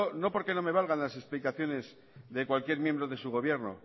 no porque no me valgan las explicaciones de cualquier miembro de su gobierno